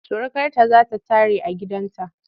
Surukarta za ta tare a gidanta.